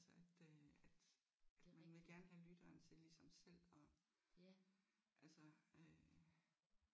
Altså at øh at man vil gerne have lytteren til ligesom selv at altså øh